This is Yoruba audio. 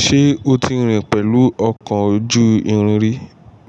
Ṣé o ti rìn pẹ̀lú ọkọ̀ ojú irin rí?